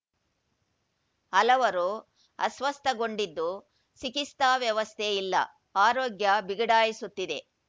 ಹಲವರು ಅಸ್ವಸ್ಥಗೊಂಡಿದ್ದು ಚಿಕಿತ್ಸಾ ವ್ಯವಸ್ಥೆ ಇಲ್ಲ ಆರೋಗ್ಯ ಬಿಗಡಾಯಿಸುತ್ತಿದೆ